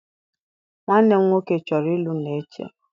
Nwanne m nwoke chọrọ ịlụ Neche.